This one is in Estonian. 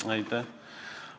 Aitäh!